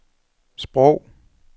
sprog